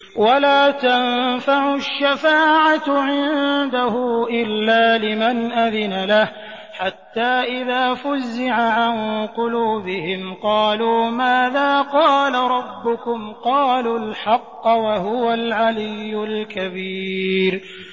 وَلَا تَنفَعُ الشَّفَاعَةُ عِندَهُ إِلَّا لِمَنْ أَذِنَ لَهُ ۚ حَتَّىٰ إِذَا فُزِّعَ عَن قُلُوبِهِمْ قَالُوا مَاذَا قَالَ رَبُّكُمْ ۖ قَالُوا الْحَقَّ ۖ وَهُوَ الْعَلِيُّ الْكَبِيرُ